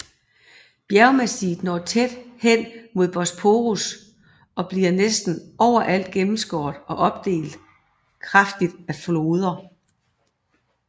Bjergmassivet når tæt hen mod Bosporus og bliver næsten overalt gennemskåret og opdelt kraftigt af floder